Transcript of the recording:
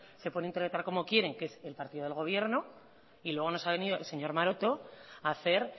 se puede interpretar como quieren que es el partido del gobierno y luego nos ha venido el señor maroto a hacer